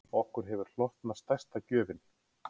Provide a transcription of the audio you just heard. Okkur hefur hlotnast stærsta gjöfin